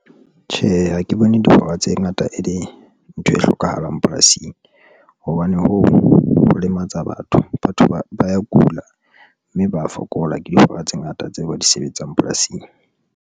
Tjhe, ha ke bone dihora tse ngata e le ntho e hlokahalang polasing hobane ho lematsa batho, batho ba ya kula, mme ba ya fokola ke dihora tse ngata tseo ba di sebetsang polasing.